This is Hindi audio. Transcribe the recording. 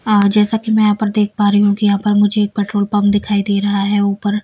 जैसा कि मैं यहां पर देख पा रही हूं कि यहां पर मुझे एक पेट्रोल पंप दिखाई दे रहा है ऊपर--